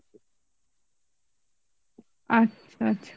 আচ্ছা আচ্ছা